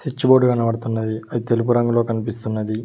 switch board కనబడుతున్నది అది తెలుపు రంగులో కనిపిస్తున్నది